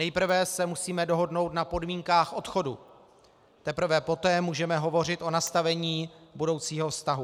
Nejprve se musíme dohodnout na podmínkách odchodu, teprve poté můžeme hovořit o nastavení budoucího vztahu.